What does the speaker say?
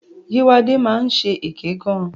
Yéwándé máa ń ṣe èké gan.